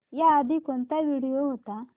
याआधी कोणता व्हिडिओ होता